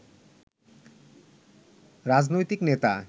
রাজনৈতিক নেতা